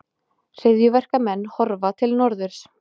Hryðjuverkamenn horfa til norðurs